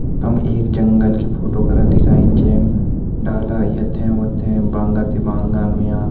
हम एक जंगल की फोटो करा दिखाईं जैम डाला यथे वथें बांगा तिबांगा होयां।